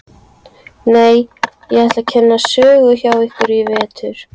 Nei, ég ætla að kenna sögu hjá ykkur í vetur.